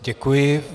Děkuji.